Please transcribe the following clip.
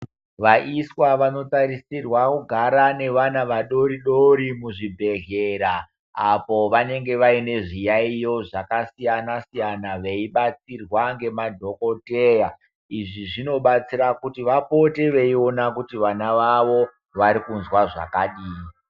Vaiswa vanotarisirwa kugara nevana vadori-dori muzvibhedhlera. Apo vanenge vaine zviyaiyo zvakasiyana-siyana, zvakabatsirwa ngemadhokoteya. Izvi zvinobatsira kuti vapote veiona kuti vana vavo vari kunzwa zvakadini.